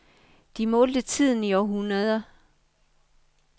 De målte tiden i århundreder.